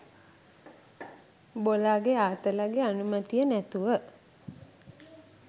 බොලාගෙ ආතලගෙ අනුමැතිය නැතුව